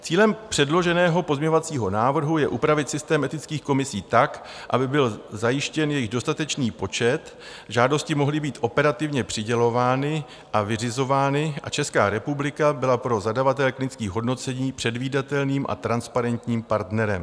Cílem předloženého pozměňovacího návrhu je upravit systém etických komisí tak, aby byl zajištěn jejich dostatečný počet, žádosti mohly být operativně přidělovány a vyřizovány a Česká republika byla pro zadavatele klinických hodnocení předvídatelným a transparentním partnerem.